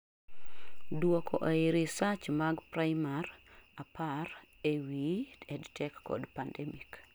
duoko ei reseach mag primary apar ee wii EdTech kod pandemic